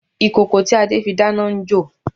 Ìkòkò tí Adé fi dáná n jò